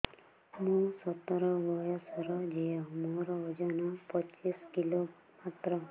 ମୁଁ ସତର ବୟସର ଝିଅ ମୋର ଓଜନ ପଚିଶି କିଲୋ ମାତ୍ର